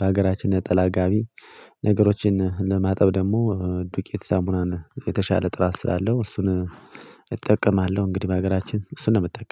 በሀገራችን ነጠላ ጋቢ ነገሮችን ለማጠብ ደግሞ ዱቄት ሳሙናን የተሻለ ጥራት ስላለው እሱን እጠቀማለሁ እንግዲህ በሀገራችን እሱን ነው የምጠቀመው